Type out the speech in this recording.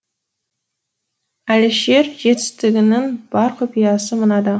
әлішер жетістігінің бар құпиясы мынада